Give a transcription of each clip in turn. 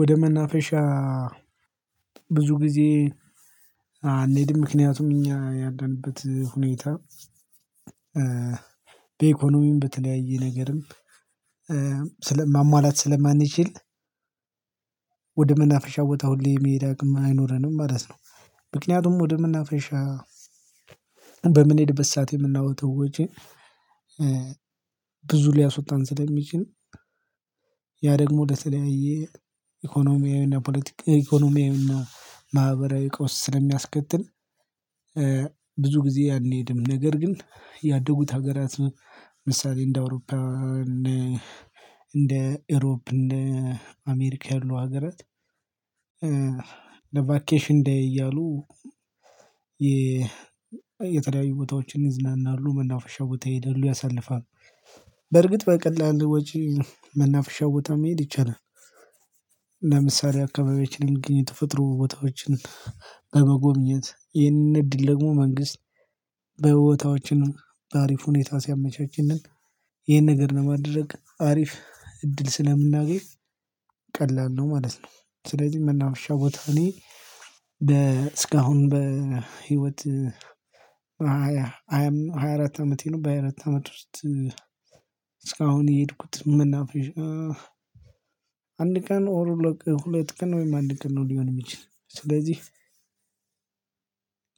ወደ መናፈሻ ብዙ ጊዜ አንሄድም ምክንያቱም እኛ ያለንበት ሁኔታ በኢኮኖሚም በተለያየ ነገርም ስለ ማሟላት ስለማንችል ወደ መናፍሻ ቦታ ሁሌ የመሄድ አቅም አይኖረንም ማለት ነው። ምክንያቱም ወደ መናፈሻ በምንሄድበት ሰዓት የምናወጣው ወጭ ብዙ ሊያስወጣን ስለሚችል ያ ደግሞ ለተለያየ ኢኮኖሚያዊና ፖለቲካዊ ኢኮኖሚያዊና ማህበራዊ ቀውስ ስለሚያስከትል ጊዜ አንሄድም ነገር ግን ያደጉት ሀገራት ምሳሌ እንደ አውሮፓ እንደ ኤሮፕ እንደ አሜሪካ ያሉ ሀገራት ለቫኬሽን ዴይ እያሉ የተለያዩ ቦታዎችን ይዝናናሉ መናፈሻ ቦታ ይሄዳሉ ያሳልፋሉ በርግጥ በቀላሉ ወጪ መናፍሻ ቦታ መሄድ ይቻላል። ለምሳሌ አካባቢዎችን የሚግኝ የተፈጥሮ ቦታዎችን በመጎብኘት ይህንን እድል ደግሞ መንግስት በበቦታዎችን በአሪፍ ሁኔታ ሲያመቻችልን ይሄን ነገር ለማድረግ አሪፍ እድል ስለምናገኝ ቀላል ነው ማለት ነው። ስለዚህ መናፈሻ ቦታ እኔ እስካሁን በህይወት ሃያ አራት አመቴ ነው በሃያ አራት አመት ውስጥ እስካሁን የሄድኩት መናፈሻ አንድ ቀን ሎክ ሁለት ቀን ወይም አንድ ቀን ነው። ሊሆን የሚችለው ስለዚህ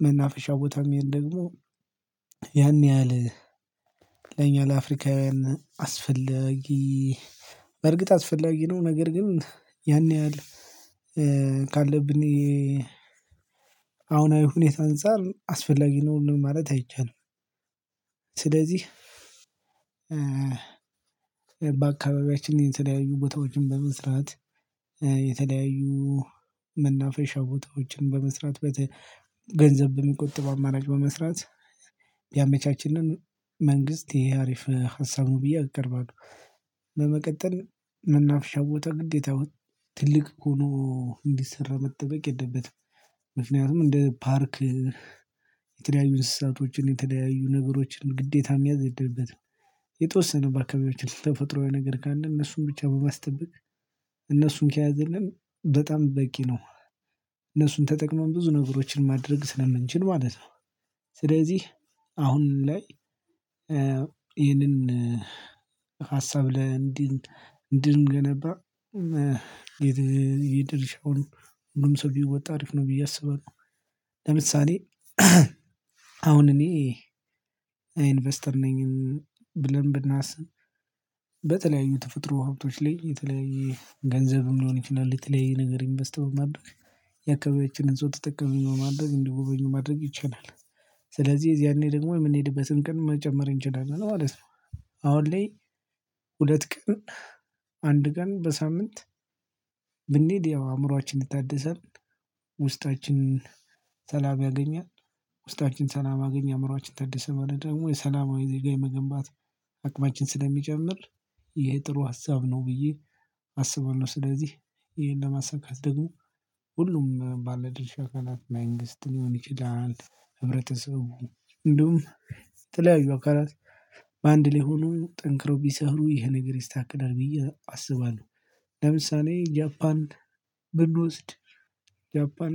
መናፈሻ ቦታም መሄድ ደግሞ ያን ያህል ለኛ ለአፍሪካውያን አስፈለጊ በእርግጥ አስፈላጊ ነው ነገር ግን ያን ያህል ካለብን የአሁናዊ ሁኔታ አንፃር አስፈላጊ ነው ማለት አይቻልም። ስለዚህ በአካባቢያችን የተለያዩ ቦታዎችን በመስራት የተለያዩ መናፈሻ ቦታዎችን በመስራት በገንዘብ በሚቆጥብ አማራጭ በመስራት ቢያመቻችልን መንግስት ይሄ አሪፍ ሀሳብ ብዬ አቀርባለሁ። በመቀጠል መናፍሻ ቦታ ግዴታ ትልቅ ሆኖ እንዲሰራ መጠበቅ የለበትም ምክንያቱም እንደ ፓርክ የተለያዩ እንስሳቶችን የተለያዩ ነገሮችን ግዴታ መያዝ የለበትም። የተወሰነ በአካባቢዎች ተፈጥሮአዊ ነገር ካለ እነሱን ብቻ በማስጠበቅ እነሱን ከያዘልን በጣም በቂ ነው እነሱን ተጠቅመን ብዙ ነገሮችን ማድረግ ስለምንችል ማለት ነው። ስለዚህ አሁን ላይ ይሄንን ሀሳብ ለእንዲህ እንዲን እንድንገነባ የድርሻውን ሁሉም ሰው ቢወጣ አሪፍ ነው ብዬ አስባለሁ። ለምሳሌ አሁን እኔ ኢንቨስተር ነኝ ብለን ብናስብ በተለያዩ ተፈጥሮ ሀብቶች ላይ የተለያየ ገንዘብ ሊሆን ይችላል የተለያየ ነገር ኢንቨስት በማድረግ የአካባቢያችንን ሰው ተጠቃሚ በማድረግ እንደጎበኙ ማድረግ ይቻላል። ስለዚህ ያኔ ደግሞ የምንሄድበትን ቀን መጨመር እንችላለን ማለት ነው። አሁን ላይ ሁለት ቀን አንድ ቀን በሳምንት ብንሄድ አእምሮአችን ይታደሳል ውስጣችንን ሰላም ያገኛል ውስጣችን ሰላም አገኘ አእምሮአችን ታደሰ ማለት ደግሞ የሰላማዊ ዜጋ የመገንባት አቅማችን ስለሚጨምር ይሄ ጥሩ ሀሳብ ነው። ብዬ አስባለሁ ስለዚህ ይሄን ለማሳካት ደግሞ ሁሉም ባለድርሻ ካላት መንግስት ሊሆን ይችላል ህብረተሰቡ እንደውም የተለያዩ አካላት በአንድ ላይ ሆነው ጠንክረው ቢሰሩ ይሄ ነገር ይስተከላል ብዬ አስባለሁ። ለምሳሌ ጃፓን ብንወስድ ጃፓን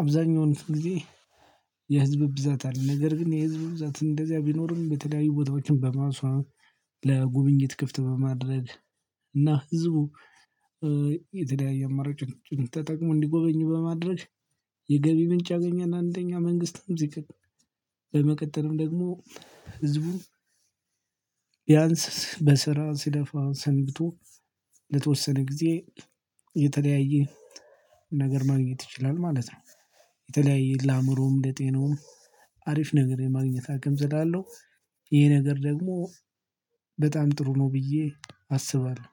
አብዛኛውን ጊዜ የህዝብ ብዛት አለ ነገር ግን የህዝብ ብዛትን እንደዚያ ቢኖርም በተለያዩ ቦታዎችም በማስዋብ ለጉብኝት ክፍት በማድረግ እና ህዝቡ የተለያየ አማራጮችን ተጠቅሞ እንዲጎበኙ በማድረግ የገቢ ምንጭ ያገኛል። አንደኛ መንግስትም ዝቅ በመቀጠልም ደግሞ ህዝቡ ቢያንስ በስራ ሲለፋ ሰንብቶ ለተወሰነ ጊዜ የተለያየ ነገር ማግኘት ይችላል ማለት ነው። የተለያየ ለአእምሮም ለጤናውም አሪፍ ነገር የማግኘት አቅም ስላለው ይሄ ነገር ደግሞ በጣም ጥሩ ነው ብዬ አስባለሁ